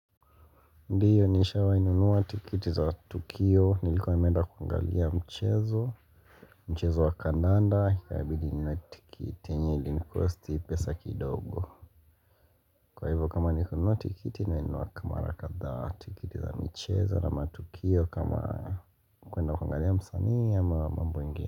Ndiyo nishawahi nunuwa tikiti za Tukio, nilikuwa nimeenda kuangalia mchezo, mchezo wa kandanda, ikabidi ninunue tikiti, yenye ilinikosti pesa kidogo Kwa hivyo kama ni kununuwa tikiti, nimenunua mara kadhaa, tikiti za michezo na matukio kama kuenda kuangalia msanii ama mambo ingine.